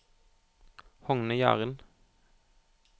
Hogne Jahren